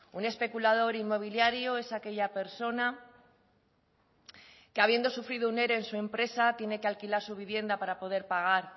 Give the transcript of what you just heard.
un especulador inmobiliario es aquella persona que habiendo sufrido un ere en su empresa tiene que alquilar su vivienda para poder pagar